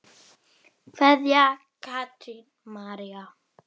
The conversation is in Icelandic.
Kveðja, Katrín María.